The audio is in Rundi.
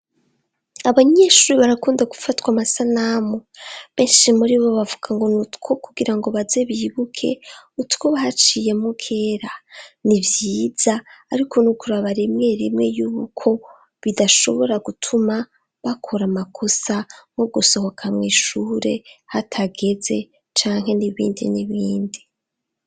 Abanyeshuri barakunda gufatwa amasanamu benshi muri bo bavuga ngo ni utwo kugira ngo baze bibuke utwobahaciyemo kera ni vyiza, ariko niukuraba rimwe rimwe y'ubuko bidashobora gutuma bakora amakosa nwo gusoho akamwishure hatagere ze canke nibindi n'ibindi.